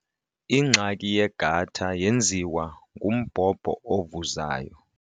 Ingxaki yegatha yenziwa ngumbhobho ovuzayo.